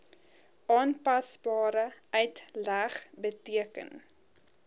aanpasbare uitleg beteken